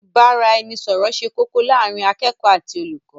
ìbáraẹnisọọ̀rọ̀ ṣe kókó láàrín akẹ́kọ̀ọ́ àti olùkọ́.